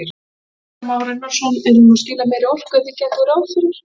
Kristján Már Unnarsson: Er hún að skila meiri orku en þið gerðuð ráð fyrir?